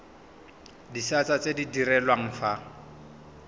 disata tse di direlwang fa